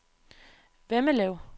Vemmelev